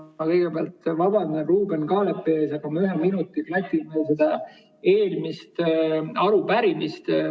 Ma kõigepealt vabandan Ruuben Kaalepi ees, aga ma ühe minuti klatin veel seda eelmist arupärimist.